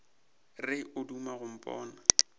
re o duma go mpona